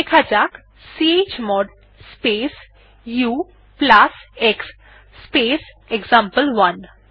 লেখা যাক chmod space ux space example one